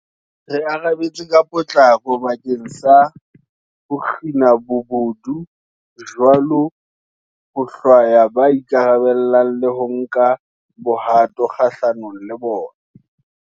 Re arabetse ka potlako bakeng sa ho kgina bobodu bo jwalo, ho hlwaya ba ikarabellang le ho nka bohato kgahlanong le bona.